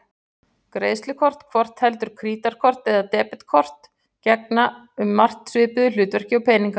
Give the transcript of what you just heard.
Greiðslukort, hvort heldur krítarkort eða debetkort, gegna um margt svipuðu hlutverki og peningar.